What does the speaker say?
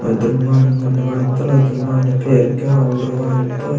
ओयतोर माने मुने वायमुत्तौर ओयतोर पेरके माने आयमुडो वायमुत्तौर।